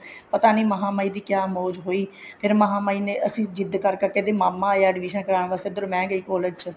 ਪਤਾ ਨੀ ਮਹਾਂ ਮਾਈ ਦੀ ਕਿਆ ਮੋਜ ਹੋਈ ਫ਼ੇਰ ਮਹਾਂ ਮਾਈ ਨੇ ਅਸੀਂ ਜਿੱਦ ਕਰ ਕਰਕੇ ਮਾਮਾ ਆਇਆ admission ਕਰਾਉਣ ਵਾਸਤੇ ਇੱਧਰ ਮੈਂ ਗਈ collage ਵਿੱਚ